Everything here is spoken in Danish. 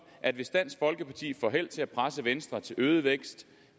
at hvis dansk folkeparti får held til at presse venstre til øget vækst